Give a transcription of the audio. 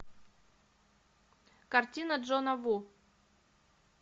картина джона ву